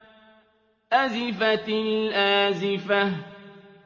أَزِفَتِ الْآزِفَةُ